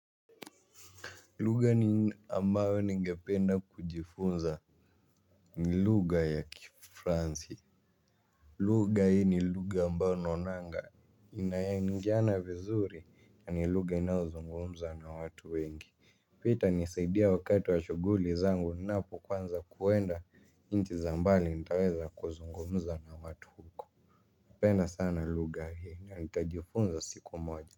Luga ni ambayo ni ngependa kujifunza ni luga ya kifransi. Luga hii ni luga ambayo nonanga. Inayangiana vizuri ya ni luga inaozungumza na watu wengi. Pia ita nisaidia wakati wa shuguli zangu napu kwanza kuenda inchi za mbali nitaweza kuzungumza na watu huko hupenda sana luga hii na nitajifunza siku moja.